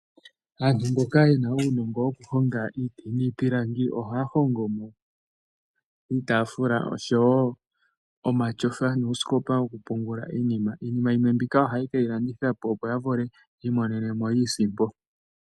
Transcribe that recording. Aantu mboka ye na uunongo wokuhonga iiti niipilangi ,ohaya hongo mo iitaafula osho wo omatyofa nuusikopa wokupungula iinima. Iinima yimwe mbika ohaye ke yi landithapo opo ya vule yi i monenemo iisimpo.